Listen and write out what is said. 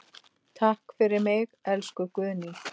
Takk fyrir mig, elsku Guðný.